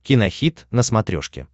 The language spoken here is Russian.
кинохит на смотрешке